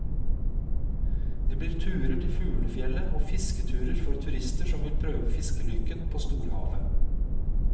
Det blir turer til fuglefjellet og fisketurer for turister som vil prøve fiskelykken på storhavet.